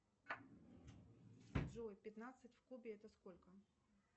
джой пятнадцать в кубе это сколько